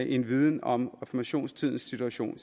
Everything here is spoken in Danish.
en viden om reformationstidens situation